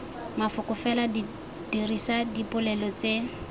mafoko fela dirisa dipolelo tse